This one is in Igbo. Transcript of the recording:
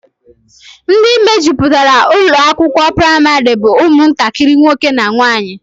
Ndị mejupụtara ụlọakwụkwọ praịmarị bụ ụmụntakịrị nwoke na nwaanyị